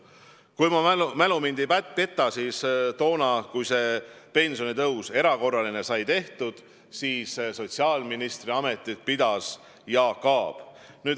Kui mu mälu mind ei peta, siis viimane erakorraline pensionitõus sai tehtud siis, kui sotsiaalministri ametit pidas Jaak Aab.